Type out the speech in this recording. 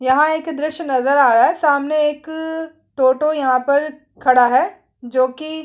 यहाँ एक दृश्य नज़र आ रहा है सामने एक टोटो यहाँ पर खड़ा है जोकि--